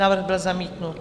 Návrh byl zamítnut.